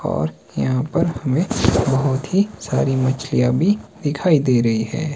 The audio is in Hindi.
और यहां पर हमे बहोत ही सारी मछलियां भी दिखाई दे रही हैं।